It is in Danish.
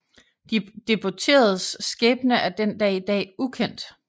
De deporteredes skæbne er den dag i dag ukendt